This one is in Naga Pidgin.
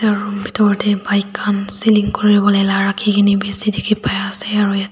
etu room bitor dae bike kan selling kuri bolae la raki kine bishi tiki bai ase aro yete.